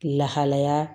Lahalaya